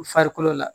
U farikolo la